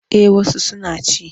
Eh wasu suna ci.